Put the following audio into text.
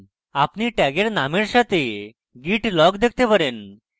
আপনি tag names সাথে git log দেখতে পারেন